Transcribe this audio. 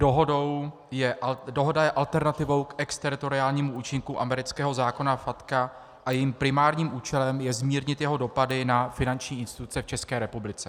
Dohoda je alternativou k exteritoriálnímu účinku amerického zákona FATCA a jejím primárním účelem je zmírnit jeho dopady na finanční instituce v České republice.